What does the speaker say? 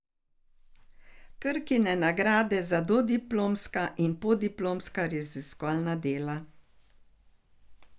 Krkine nagrade za dodiplomska in podiplomska raziskovalna dela.